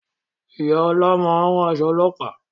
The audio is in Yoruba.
Ìyá ọlá máa ń rán aṣọ ọlọ́pàá